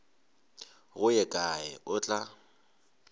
go ye kae o tla